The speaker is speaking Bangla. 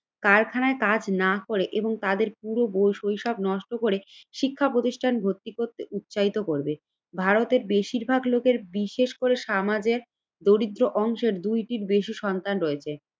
কারখানায় কাজ না করে এবং তাদের পুরো বই শৈশব নষ্ট করে শিক্ষা প্রতিষ্ঠান ভর্তি করতে উৎসাহিত করবে। ভারতের বেশিরভাগ লোকের বিশেষ করে সমাজের দরিদ্র অংশের দুইটির বেশি সন্তান রয়েছে।